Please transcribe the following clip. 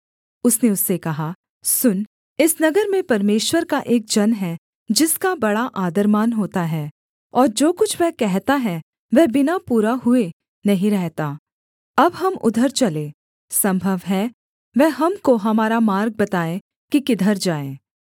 उसने उससे कहा सुन इस नगर में परमेश्वर का एक जन है जिसका बड़ा आदरमान होता है और जो कुछ वह कहता है वह बिना पूरा हुए नहीं रहता अब हम उधर चलें सम्भव है वह हमको हमारा मार्ग बताए कि किधर जाएँ